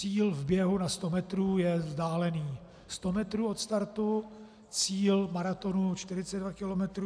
Cíl v běhu na 100 metrů je vzdálený 100 metrů od startu, cíl maratonu 42 kilometrů.